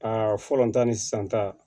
A fɔlɔ ta ni sisan ta